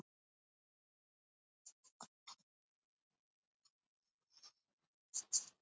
Vindmyllur nú á dögum eru töluvert þróaðri en byggja á sömu hugmynd.